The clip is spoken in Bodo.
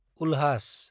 उल्हास